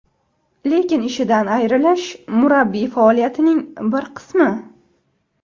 Lekin ishidan ayrilish murabbiy faoliyatining bir qismi.